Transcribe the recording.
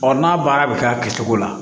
Ɔ n'a baara bɛ k'a kɛcogo la